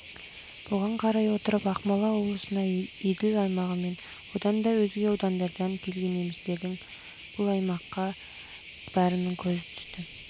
бұған қарай отырып ақмола облысына еділ аймағы мен одан да өзге аудандардан келген немістердің бұл аймаққа жылдардан